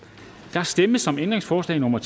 der stemmes om ændringsforslag nummer